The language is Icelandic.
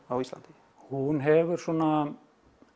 á Íslandi hún hefur svona